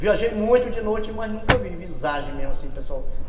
Viajei muito de noite, mas nunca vi visagem mesmo, assim, pessoal.